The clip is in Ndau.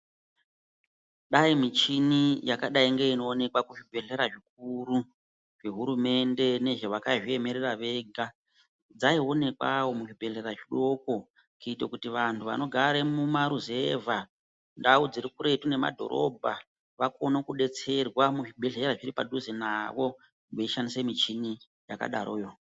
Dai michini yakadai ngeinoonekwa kuzvibhedhlera zvikuru zvehurumende nezve vakazviemera vega, dzaiwonekwawo muzvibhedhlera zvidoko kuite kuti vantu vanogaremo mumaruzevha, ndau dzirikuretu nemadhorobha vakone kudetserwa muzvibhedhera zviri padhuze navo veishandisa michini yakadaroyo.